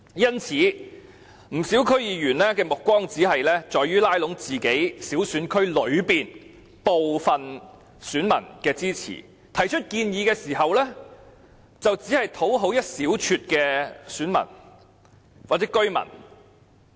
因此，不少區議員的目光只放在拉攏選區內小部分選民的支持，他們提出建議時，只為討好一小撮的選民或居民。